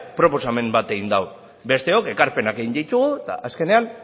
proposamen bat egin du besteok ekarpenak egin ditugu eta azkenean